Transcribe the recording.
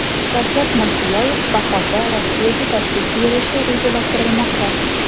Shavkat Mirziyoyev bahorda Rossiyaga tashrif buyurishi rejalashtirilmoqda.